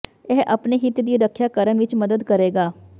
ਇਹ ਆਪਣੇ ਹਿੱਤ ਦੀ ਰੱਖਿਆ ਕਰਨ ਵਿੱਚ ਮਦਦ ਕਰੇਗਾ